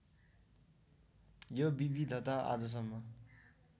यो विविधता आजसम्म